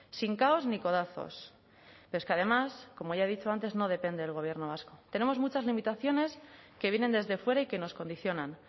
sin caos ni codazos pero es que además como ya ha dicho antes no depende del gobierno vasco tenemos muchas limitaciones que vienen desde fuera y que nos condicionan